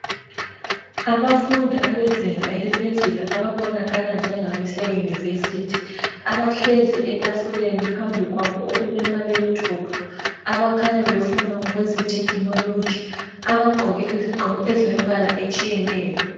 Abafundi abezinga eliphezulu ababonakala njengabaseyunivesithi abahlezi etafuleni phambi kwabo okulama laptop. Abakhanya befunda ngokweze technology. Abagqoke izigqoko ezilemibala etshiyeneyo.